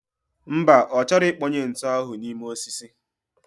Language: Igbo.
Mba, ochoro ikponye ntu ahu nime osisi